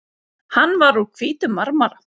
Hann var úr hvítum marmara.